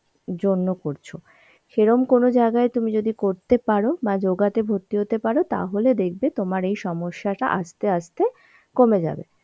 জন্য করছ. সেরকম কোন জায়গায় তুমি যদি করতে পারো বা yoga তে ভর্তি হতে পারো তাহলে দেখবে তোমার এই সমস্যা টা আস্তে আস্তে কমে যাবে.